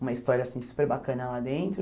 uma história assim super bacana lá dentro.